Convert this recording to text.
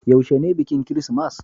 yaushe ne bikin kirismas?